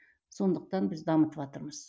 содықтан біз дамытыватырмыз